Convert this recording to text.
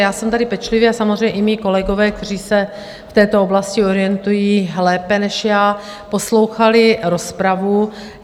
Já jsem tady pečlivě, a samozřejmě i mí kolegové, kteří se v této oblasti orientují lépe než já, poslouchali rozpravu.